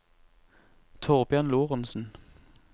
Thorbjørn Lorentzen